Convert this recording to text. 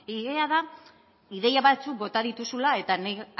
ideia da ideia batzuk bota dituzula eta nik